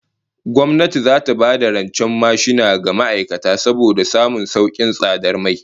Gwamnati zata ba da rancen mashina ga ma'aikata saboda samun saukin tsadar mai